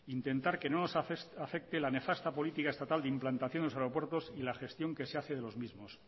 intentar que no nos afecte la nefasta política estatal de implantación en los aeropuertos y la gestión que se hace de los mismos